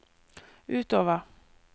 utover